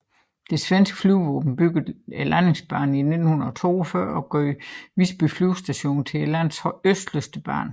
Det svenske flyvevåben byggede landingsbanen i 1942 og gjorde Visby Flygstation til landets østligste base